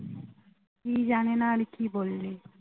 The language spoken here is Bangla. কি জানেনা আর কি বললি